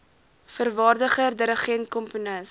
vervaardiger dirigent komponis